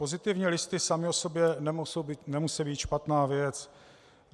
Pozitivní listy samy o sobě nemusí být špatná věc.